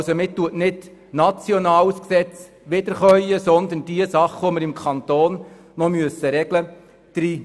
Man wiederkäut nicht nationales Gesetz, sondern packt diejenigen Sachen hinein, die wir im Kanton Bern regeln müssen.